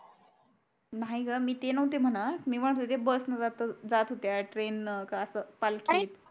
नाही ग मी ते नव्हती म्हणत मी म्हणत होते bus न जात हो अं होत्या train न का असं पालखी न